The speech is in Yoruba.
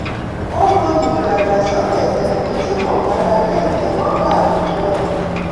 ó mọyì ìdàgbàsókè tẹ̀mí tí kò gbára lé ìtẹ̀wọ́gbà àwùjọ